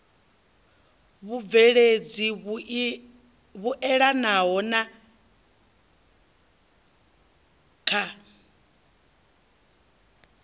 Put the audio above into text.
vhubveledzi vhuelanaho na ik na